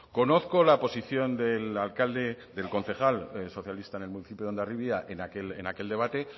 conozco la posición del alcalde del concejal socialista en el municipio de hondarribia en aquel debate